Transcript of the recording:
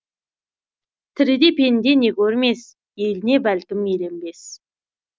тіріде пенде не көрмес еліне бәлкім еленбес